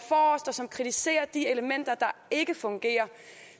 kritiserer de elementer der ikke fungerer